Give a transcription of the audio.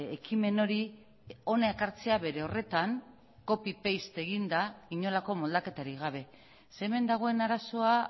ekimen hori hona ekartzea bere horretan copy paste eginda inolako moldaketarik gabe ze hemen dagoen arazoa